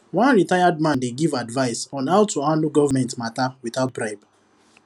one retired man dey give advice on how to handle government matter without bribe